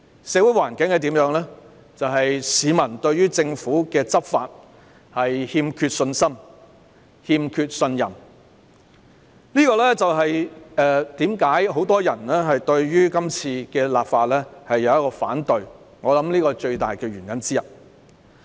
社會環境令市民對政府的執法欠缺信心和信任，我想這就是很多人反對今次立法的最大原因之一。